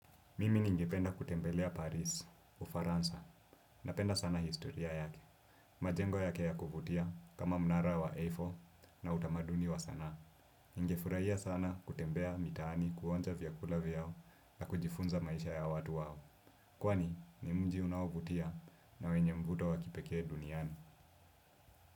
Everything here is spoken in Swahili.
Mimi ningependa kutembelea Paris, Ufaransa. Napenda sana historia yake. Majengo yake ya kuvutia kama mnara wa A4 na utamaduni wa sanaa. Ningefurahia sana kutembea mitaani kuonja vyakula vyao na kujifunza maisha ya watu wao. Kwani ni mji unao vutia na wenye mvuto wakipekee duniani.